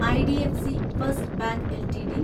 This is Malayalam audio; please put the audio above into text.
IDFC first bank LTD